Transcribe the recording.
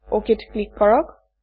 অক ত ক্লিক কৰক